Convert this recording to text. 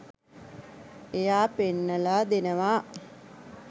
එයා පෙන්නලා දෙනවා